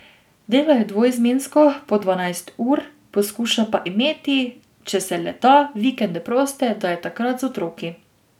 Delo je dvoizmensko, po dvanajst ur, poskuša pa imeti, če se le da, vikende proste, da je takrat z otroki.